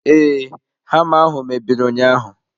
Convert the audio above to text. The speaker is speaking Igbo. Ee, hama ahụ mebiri ụnyaahụ.